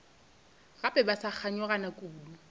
gape ba sa kganyogana kudu